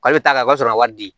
Kalo t'a la o b'a sɔrɔ a wari di